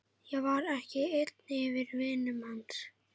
Ég var ekki einn af vinum hans.